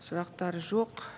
сұрақтар жоқ